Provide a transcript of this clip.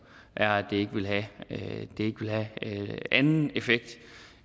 er at det ikke vil have anden effekt